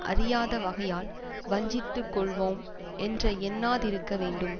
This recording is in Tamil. அறியாதப் வகையால் வஞ்சித்து கொள்வோம் என்று எண்ணாதிருக்க வேண்டும்